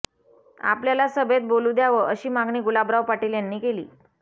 आपल्याला सभेत बोलू द्यावं अशी मागणी गुलाबराव पाटील यांनी केली